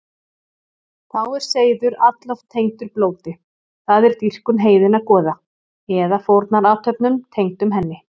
Þá er seiður alloft tengdur blóti, það er dýrkun heiðinna goða, eða fórnarathöfnum tengdum henni.